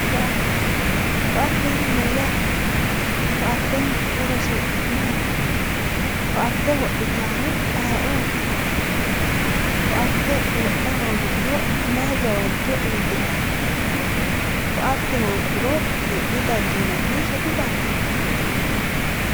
Koatte, koatte yaa mayyate ,koatteniti horosi maati, koatte wodhittanori ayeeoti, koatte wodha hoongiro mayi gawajo iillittano, koatte hooguro hee'ne dandiinanso didandiinanni?